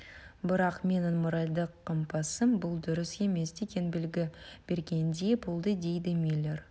бірақ менің моральдық компасым бұл дұрыс емес деген белгі бергендей болды дейді миллер